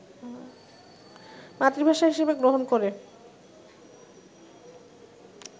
মাতৃভাষা হিসেবে গ্রহণ করে